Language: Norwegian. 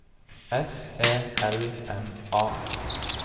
S E L M A